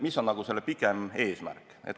Mis on selle pikem eesmärk?